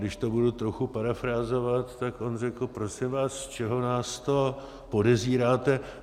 Když to budu trochu parafrázovat, tak on řekl: Prosím vás, z čeho nás to podezíráte?